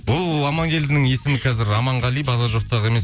бұл амангелдінің есімі қазір аманғали базар жоқтағы емес